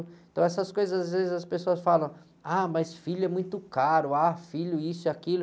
Então, essas coisas, às vezes, as pessoas falam, ah, mas filho é muito caro, ah, filho isso e aquilo.